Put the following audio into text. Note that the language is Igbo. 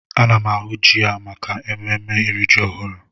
Ana m ahụ ji a maka ememme iri ji ọhụrụ.